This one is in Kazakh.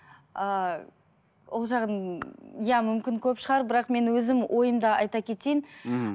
ыыы ол жағын иә мүмкін көп шығар бірақ мен өзім ойымды айта кетейін мхм